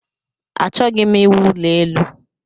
Achọghị m iwu ụlọ elu